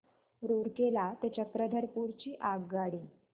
रूरकेला ते चक्रधरपुर ची आगगाडी